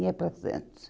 Ia para Santos.